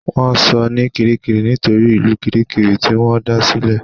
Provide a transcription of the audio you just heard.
Wọ́n sọ ní Kirikiri nítorí ìlú Kirikiri tí wọ́n da sí